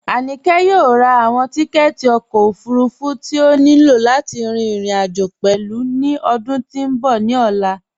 Aníkẹ yọ̀ò rá awọn tìkẹ̀tì ọkọ ofúrúfú tí o ní ilọ̀ láti rin irin-ajo pẹ̀lú ni ọdún tí n bọ̀ ni ọlá